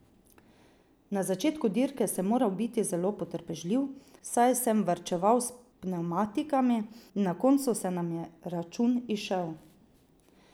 Na začetku dirke sem moral biti zelo potrpežljiv, saj sem varčeval s pnevmatikami, in na kocu se nam je račun izšel.